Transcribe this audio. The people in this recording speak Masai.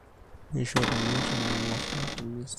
neishorruni eton engorr matumisi